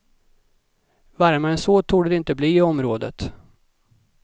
Varmare än så torde det inte bli i området.